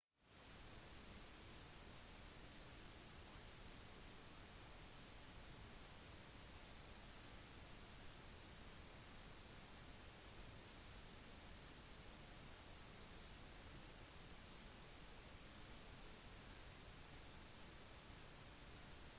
nevrobiologiske data gir fysisk dokumentasjon for en teoretisk tilnærming til undersøkelse av kognisjon det forminsker området for forskning og gjør det mer presist